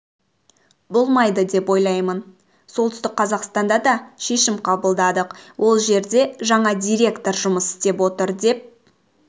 болмайды деп ойлаймын солтүстік қазақстанда дашешім қабылдадық ол жерде жаңа директор жұмыс істеп отыр деп